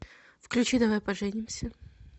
включи давай поженимся